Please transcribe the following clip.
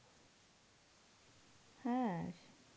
হ্যাঁ.